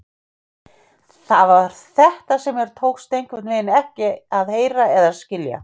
Það var þetta sem mér tókst einhvernveginn ekki að heyra eða skilja.